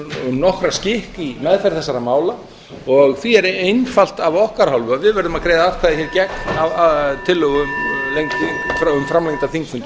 nokkra skikk í meðferð þessara mála og því er einfalt af okkar hálfu að við verðum að greiða atkvæði gegn tillögum um framlengdan þingfund í kvöld